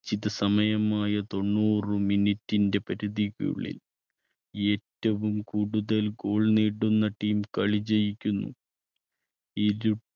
ശ്ചിത സമയമായ തൊണ്ണൂറ് minute ന്റെ പരിധിക്കുള്ളിൽ ഏറ്റവും കൂടുതൽ goal നേടുന്ന team കളി ജയിക്കുന്നു. ഇരു